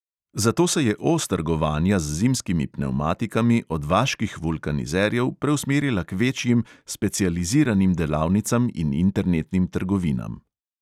Zato se je os trgovanja z zimskimi pnevmatikami od vaških vulkanizerjev preusmerila k večjim, specializiranim delavnicam in internetnim trgovinam.